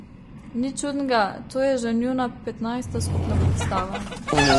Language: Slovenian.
Nič čudnega, to je že njuna petnajsta skupna predstava.